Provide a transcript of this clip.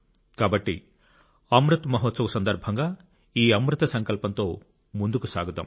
కాబట్టి అమృత్ మహోత్సవ్ సందర్భంగా ఈ అమృత సంకల్పంతో ముందుకు సాగుదాం